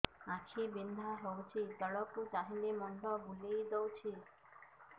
ଆଖି ବିନ୍ଧା ହଉଚି ତଳକୁ ଚାହିଁଲେ ମୁଣ୍ଡ ବୁଲେଇ ଦଉଛି